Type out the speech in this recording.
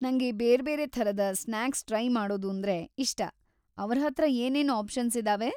ನಂಗೆ ಬೇರ್ಬೇರೆ ಥರದ ಸ್ನ್ಯಾಕ್ಸ್ ಟ್ರೈ ಮಾಡೋದಂದ್ರೆ ಇಷ್ಟ. ಅವ್ರ ಹತ್ರ ಏನೇನು ಆಪ್ಷನ್ಸ್‌ ಇದಾವೆ?